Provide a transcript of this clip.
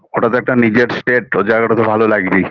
ওটা একটা নিজের state ওই জায়গাটা তো ভালো লাগবেই